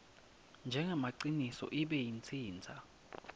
njengemaciniso ibe itsintsa